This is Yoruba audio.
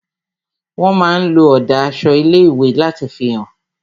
Wón máa ń lo ọ̀dà aṣọ ilé ìwé láti fi hàn